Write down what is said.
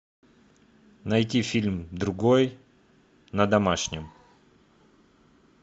найти фильм другой на домашнем